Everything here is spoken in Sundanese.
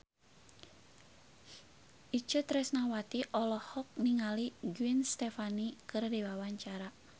Itje Tresnawati olohok ningali Gwen Stefani keur diwawancara